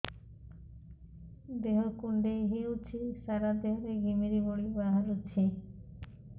ଦେହ କୁଣ୍ଡେଇ ହେଉଛି ସାରା ଦେହ ରେ ଘିମିରି ଭଳି ବାହାରୁଛି